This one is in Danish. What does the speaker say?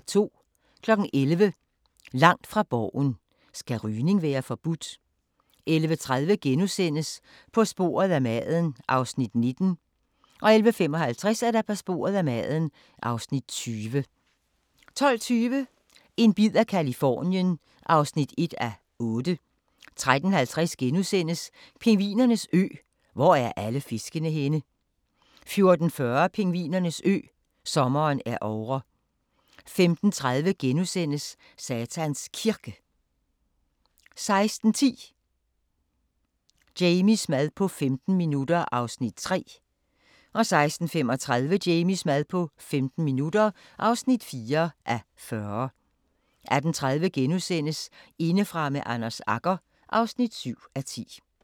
11:00: Langt fra Borgen: Skal rygning være forbudt? 11:30: På sporet af maden (Afs. 19)* 11:55: På sporet af maden (Afs. 20) 12:20: En bid af Californien (1:8) 13:50: Pingvinernes ø: Hvor er alle fiskene henne? * 14:40: Pingvinernes ø: Sommeren er ovre 15:30: Satans Kirke * 16:10: Jamies mad på 15 minutter (3:40) 16:35: Jamies mad på 15 minutter (4:40) 18:30: Indefra med Anders Agger (7:10)*